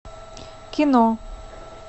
кино